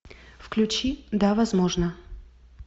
включи да возможно